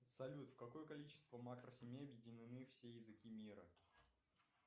салют в какое количество макросемей объединены все языки мира